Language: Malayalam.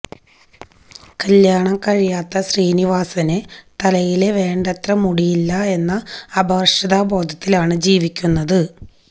കല്യാണം കഴിയാത്ത ശ്രീനിവാസന് തലയില് വേണ്ടത്ര മുടിയില്ല എന്ന അപകര്ഷബോധത്തിലാണ് ജീവിക്കുന്നത്